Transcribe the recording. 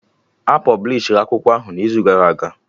A pọblishi akwụkwọ ahụ n'izu gara aga